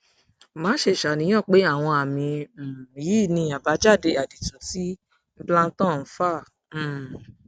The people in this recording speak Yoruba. má ṣe ṣàníyàn pé àwọn àmì um yìí ni àbájáde àdììtú tí implanton ń fà um